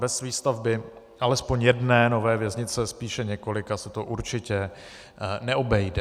Bez výstavby alespoň jedné nové věznice, spíše několika, se to určitě neobejde.